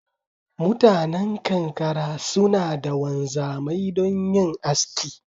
Mutanan kankara suna da Wanzamai don yin aski